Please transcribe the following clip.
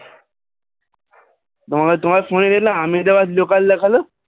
তোমার তোমার phone এল আমেদাবাদ local দেখালো